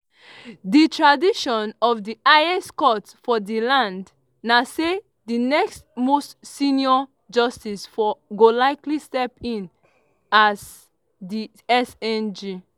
di tradition of di highest court for di land na say di next most senior justice go likely step in as di cjn.